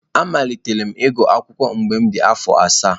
Amalitere m ịgụ akwukwo mgbe m dị afọ asaa.